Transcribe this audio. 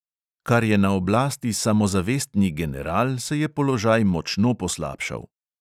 Kar je na oblasti samozavestni general, se je položaj močno poslabšal.